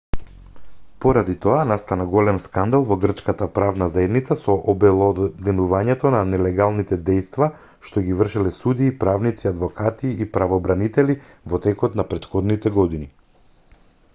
поради тоа настана голем скандал во грчката правна заедница со обелоденувањето на нелегалните дејства што ги вршеле судии правници адвокати и правобранители во текот не претходните години